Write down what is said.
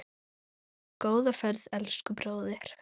Góða ferð, elsku bróðir.